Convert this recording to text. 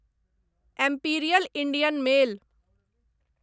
imperial Indian mail